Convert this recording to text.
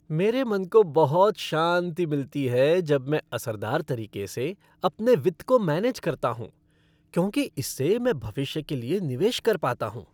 मेरे मन को बहुत शांति मिलती है जब मैं असरदार तरीके से अपने वित्त को मैनेज करता हूँ क्योंकि इससे मैं भविष्य के लिए निवेश कर पाता हूँ।